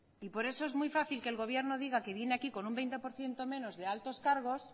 y por eso es muy fácil que el gobierno diga que viene aquí con un veinte por ciento menos de altos cargos